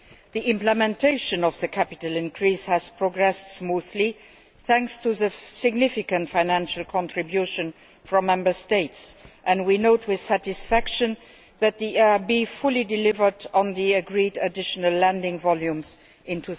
The implementation of the capital increase has progressed smoothly, thanks to the significant financial contribution from Member States, and we note with satisfaction that the EIB fully delivered on the agreed additional lending volumes in